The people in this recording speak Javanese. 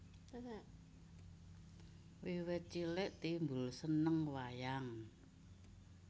Wiwit cilik Timbul seneng wayang